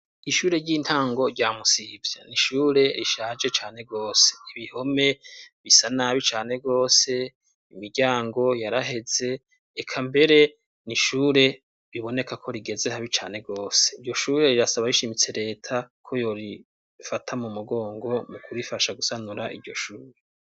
Ishure ry'intango rya Musivye, n'ishure rishaje cane rwose, ibihome bisa nabi cane rwose, imiryango yaraheze, reka mbere n'ishure biboneka ko rigeze habi cane rwose. Iryo shure, rirasaba rishimitse leta ko yorifata mu mugongo, mu kurifasha gusanura iryo shure.